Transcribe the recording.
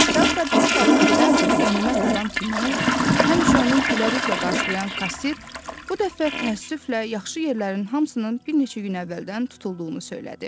Teatra bilet alıb gedən qənimət adam kimi həmişə onun gülərüzlə qarşılayan kassir, bu dəfə təəssüflə yaxşı yerlərin hamısının bir neçə gün əvvəldən tutulduğunu söylədi.